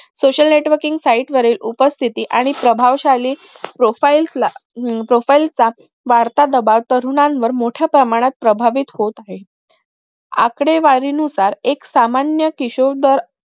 social networking site वरील उपस्थितही आणि प्रभावशाली profile ला profile चा वाढता प्रभाव तरुणांवर मोठ्या प्रमाणात प्रभावित होत आहे आकडेवारी नुसार एक सामान्य